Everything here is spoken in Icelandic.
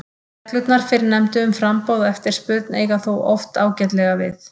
Reglurnar fyrrnefndu um framboð og eftirspurn eiga þó oft ágætlega við.